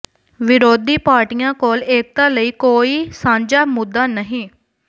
ਵਿਰੋਧੀ ਪਾਰਟੀਆਂ ਕੋਲ ਏਕਤਾ ਲਈ ਕੋਈ ਸਾਂਝਾ ਮੁੱਦਾ ਨਹੀਂ